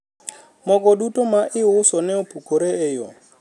mogo duto ma iuso ne opukore e yo